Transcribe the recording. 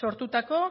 sortutako